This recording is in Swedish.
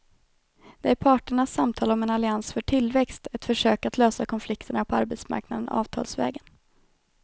Det är parternas samtal om en allians för tillväxt, ett försök att lösa konflikterna på arbetsmarknaden avtalsvägen.